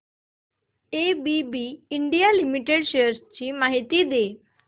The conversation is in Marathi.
एबीबी इंडिया लिमिटेड शेअर्स ची माहिती दे